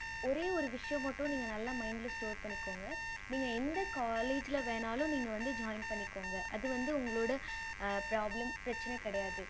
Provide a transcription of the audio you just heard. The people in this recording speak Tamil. ஒரே ஒரு விஷயம் மட்டும் நீங்க நல்ல mind store பண்ணி வச்சிகோங்க நீங்க எந்த college வேன்னுன்னாலும்நீங்க வந்து join பண்ணிகொங்க அது வந்து உங்களோட problem பிரச்சனை கிடையாது